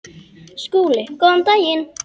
SKÚLI: Góðan daginn!